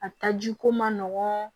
A taji ko man nɔgɔn